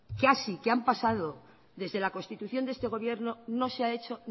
casi que han pasado desde la constitución de este gobierno no se ha hecho